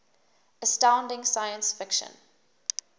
astounding science fiction